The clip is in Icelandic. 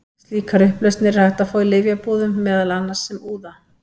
Slíkar upplausnir er hægt að fá í lyfjabúðum, meðal annars sem úða.